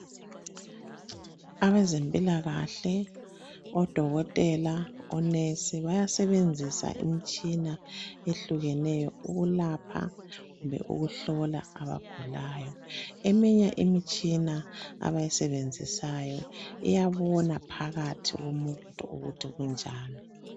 Abezempilakahle odokotela, onesi bayasebenzisa imtshina ehlukeneyo ukulapha kumbe ukuhlola abagulayo. Eminye imitshina abayisebenzisayo iyabona phakathi komuntu ukuthi kunjani.